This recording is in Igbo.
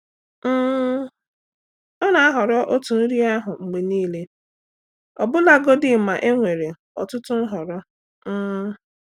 um Ọ na-ahọrọ otu nri ahụ mgbe niile ọbụlagodi ma e nwere ọtụtụ nhọrọ. um